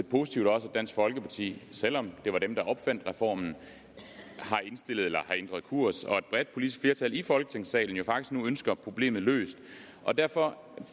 positivt at dansk folkeparti selv om det var dem der opfandt reformen har ændret kurs og at et bredt politisk flertal i folketingssalen jo faktisk nu ønsker problemet løst derfor